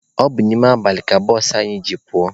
Ọ bụ n'ime abalị ka bụsụ anyị ji pụọ.